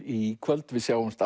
í kvöld við sjáumst